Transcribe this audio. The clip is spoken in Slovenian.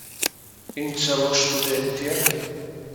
In celo študentje!